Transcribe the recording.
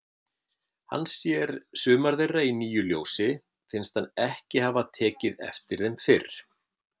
Hann sér sumar þeirra í nýju ljósi, finnst hann ekki hafa tekið eftir þeim fyrr.